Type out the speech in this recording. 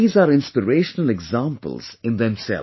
These are inspirational examples in themselves